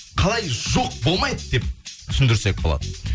қалай жоқ болмайды деп түсіндірсек болады